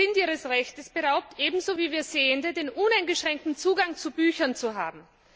Sie sind ihres Rechtes beraubt, ebenso wie wir Sehenden den uneingeschränkten Zugang zu Büchern zu haben.